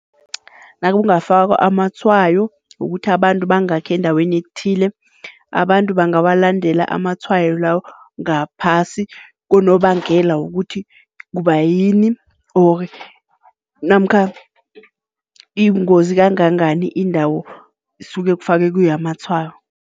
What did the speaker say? Nakungafakwa amatshwayo wokuthi abantu bangakhi endaweni ethile, abantu bangawalandela amatshwayo lawo ngaphasi konobangela, wokuthi kubayini ori namkha ibungozi kangangani indawo isuke kufakwe kiyo amatshwayo.